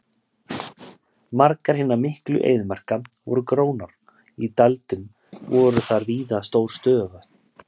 Margar hinna miklu eyðimarka voru grónar og í dældum voru þar víða stór stöðuvötn.